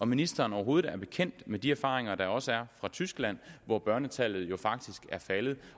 ministeren overhovedet er bekendt med de erfaringer der også er fra tyskland hvor børnetallet jo faktisk er faldet